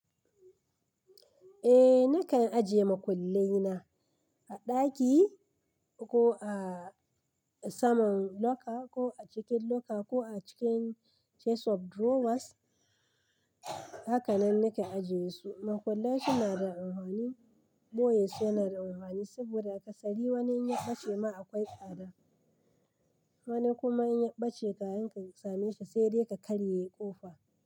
Eh nakan ajiye makullai na a ɗaki ko a saman loka ko a cikin loka ko a cikin chest of drawers. Haka nan nake ajiyesu. Makullai suna da amfani, ɓoye su yana da amfani saboda a kasari wani in ya ɓace ma akwai tsada. Wani kuma in ya ɓace kafin ka same shi sai dai ka karye ƙofa.